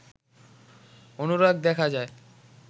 অনুরাগ দেখা যায়